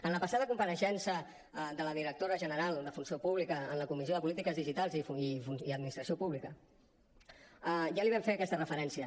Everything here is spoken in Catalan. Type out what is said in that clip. en la passada compareixença de la directora general de funció pública en la comissió de polítiques digitals i administració pública ja li vam fer aquesta referència